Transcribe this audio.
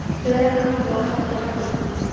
Fleira kann þó að hafa valdið.